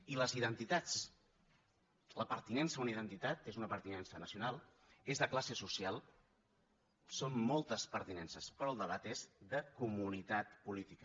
i les identitats la pertinença a una identitat és una pertinença nacional és de classe social són moltes pertinen ces però el debat és de comunitat política